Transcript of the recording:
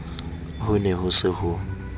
ho ne ho se ho